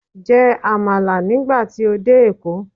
Jẹ Àmàlà nígbà tí o dé èkó